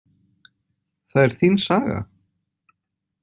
Það er þín saga?